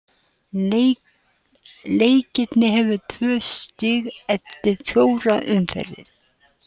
Leiknir hefur tvö stig eftir fjórar umferðir.